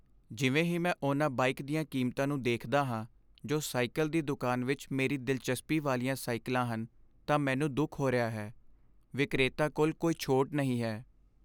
ਜਿਵੇਂ ਹੀ ਮੈਂ ਉਹਨਾਂ ਬਾਈਕ ਦੀਆਂ ਕੀਮਤਾਂ ਨੂੰ ਦੇਖਦਾ ਹਾਂ ਜੋ ਸਾਈਕਲ ਦੀ ਦੁਕਾਨ ਵਿੱਚ ਮੇਰੀ ਦਿਲਚਸਪੀ ਵਾਲੀਆਂ ਸਾਈਕਲਾਂ ਹਨ ਤਾਂ ਮੈਨੂੰ ਦੁੱਖ ਹੋ ਰਿਹਾ ਹੈ। ਵਿਕਰੇਤਾ ਕੋਲ ਕੋਈ ਛੋਟ ਨਹੀਂ ਹੈ।